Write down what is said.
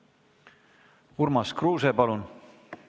Urmas Kruuse, palun!